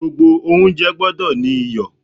Gbogbo oúnjẹ gbọ́dọ̀ ní iyọ̀.